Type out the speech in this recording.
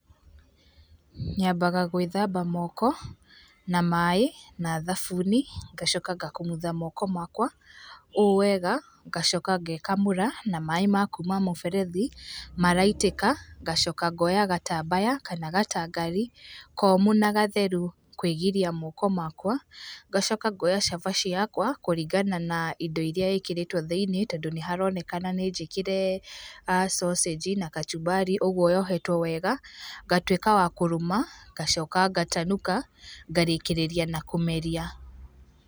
Nyambaga gwĩthamba moko, na maĩ, na thamuni ngacoka ngakumutha moko makwa, owega ngacoka ngekamũra na maĩ ma kuuma mũberethi maraitĩka ngacoka ngoya gatambaya kana gatanfari komũ na gatheru kwĩgiria moko makwa ngacoko ngoyacabaci yakwa kũringana na indo iria ĩkĩrĩtwe thĩinĩ tondũ nĩharonekana nĩnjĩkĩre a sausage na kachumbari kwoguo yohetwe wega ngatuĩka ya kũrũma ngacoka ngatanuka ngarĩkĩrĩria na kũmeria.